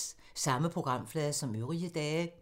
Samme programflade som øvrige dage